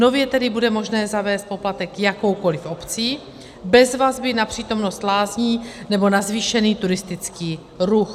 Nově tedy bude možné zavést poplatek jakoukoliv obcí bez vazby na přítomnost lázní nebo na zvýšený turistický ruch.